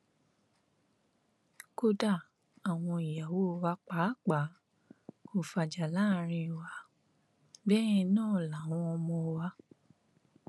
kódà àwọn ìyàwó wa pàápàá kò fàjà láàrin wa bẹẹ náà làwọn ọmọ wa